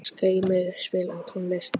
Skrýmir, spilaðu tónlist.